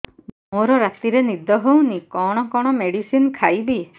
ମୋର ରାତିରେ ନିଦ ହଉନି କଣ କଣ ମେଡିସିନ ଖାଇବି